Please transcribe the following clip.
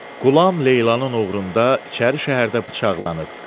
Qulam Leylanın uğrunda İçəri şəhərdə bıçaqlanıb.